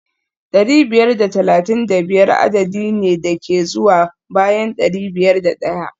dari biyar da talatin da biyar adadi ne da ke zuwa bayan dari biyar da daya